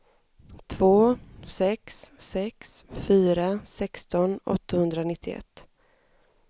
två sex sex fyra sexton åttahundranittioett